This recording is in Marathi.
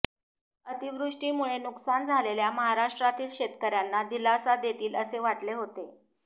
अतिवृष्टीमुळे नुकसान झालेल्या महाराष्ट्रातील शेतकऱ्यांना दिलासा देतील असे वाटले होते